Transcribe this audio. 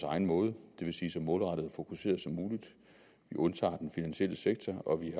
egen måde det vil sige så målrettet og fokuseret som muligt vi undtager den finansielle sektor og vi